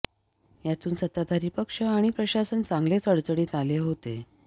यातून सत्ताधारी पक्ष आणि प्रशासन चांगलेच अडचणीत आले होते